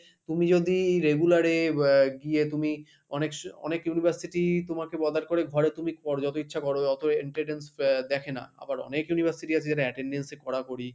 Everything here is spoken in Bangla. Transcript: তুমি যদি regular এ আহ গিয়ে তুমি অনেক~ অনেক university তোমাকে bother করে ঘরে তুমি কর যত ইচ্ছা করো, অত attendance আহ দেখে না, আবার অনেক university আছে যারা attendance এ করাকরি,